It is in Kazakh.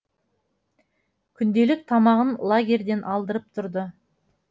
күнделік тамағын лагерьден алдырып тұрды